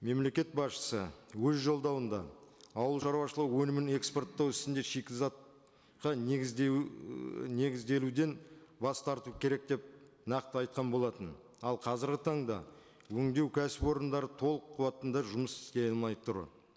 мемлекет басшысы өз жолдауында ауыл шаруашылығы өнімін экспорттау ісіне шикізатқа негіздеу ііі негізделуден бас тарту керек деп нақты айтқан болатын ал қазіргі таңда өндеу кәсіпорындары толық қуатында жұмыс істей алмай тұр